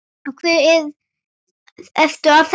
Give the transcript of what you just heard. Af hverju ertu að þessu?